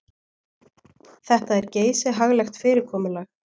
Þetta er geysihaglegt fyrirkomulag.